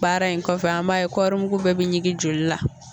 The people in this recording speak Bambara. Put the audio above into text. Baara in kɔfɛ an b'a ye kɔɔrimugu bɛɛ bɛ ɲingin joli la.